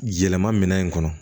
Yɛlɛma minɛn in kɔnɔ